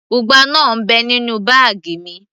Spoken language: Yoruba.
ugba náà ń bẹ nínú báàgì mi